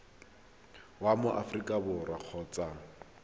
wa mo aforika borwa kgotsa